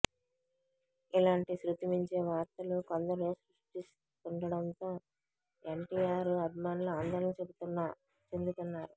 ఇలాంటి శృతిమించే వార్తలు కొందరు సృష్టిస్తుండడంతో ఎన్టీఆర్ అభిమానులు ఆందోళన చెందుతున్నారు